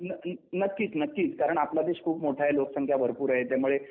नक्कीच नक्कीच कारण आपला देश खूप मोठा आहे लोकसंख्या भरपूर आहे त्यामुळे